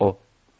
Əfəndim,